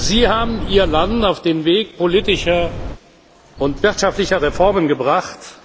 Sie haben Ihr Land auf den Weg politischer und wirtschaftlicher Reformen gebracht.